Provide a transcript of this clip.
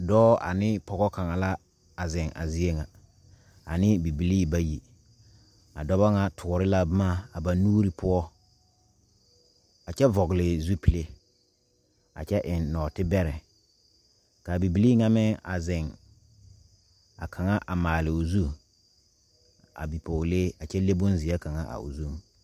Dɔɔ anee pɔɔ kaŋa la a zeŋ a zie ŋa anee bibilii bayi a dɔbɔ ŋa toore la bomma a ba nuure poɔ a kyɛ vɔgle zupile a kyɛ eŋ nɔɔtebɛrɛ kaa bibilii ŋa meŋ a zeŋ ka kaŋa a maaloo zu a bipɔɔlee a kyɛ le bonzeɛ kaŋa a o zu.